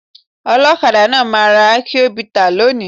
Olọ́kadà náà máa ra akion bità lónìí.